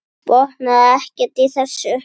Botnaði ekkert í þessu.